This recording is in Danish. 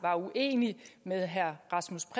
uenig med herre rasmus